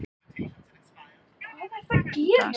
Þorbjörn: Fá þessir sjúklingar þetta lyf?